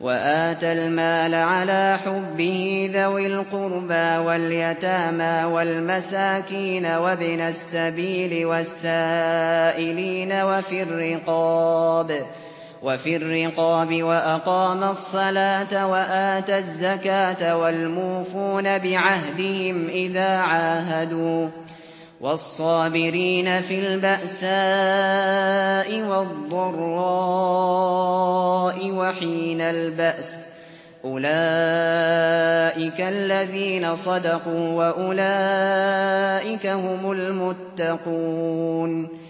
وَآتَى الْمَالَ عَلَىٰ حُبِّهِ ذَوِي الْقُرْبَىٰ وَالْيَتَامَىٰ وَالْمَسَاكِينَ وَابْنَ السَّبِيلِ وَالسَّائِلِينَ وَفِي الرِّقَابِ وَأَقَامَ الصَّلَاةَ وَآتَى الزَّكَاةَ وَالْمُوفُونَ بِعَهْدِهِمْ إِذَا عَاهَدُوا ۖ وَالصَّابِرِينَ فِي الْبَأْسَاءِ وَالضَّرَّاءِ وَحِينَ الْبَأْسِ ۗ أُولَٰئِكَ الَّذِينَ صَدَقُوا ۖ وَأُولَٰئِكَ هُمُ الْمُتَّقُونَ